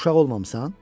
Uşaq olmamısan?